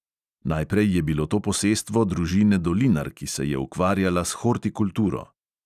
Najprej je bilo to posestvo družine dolinar, ki se je ukvarjala s hortikulturo.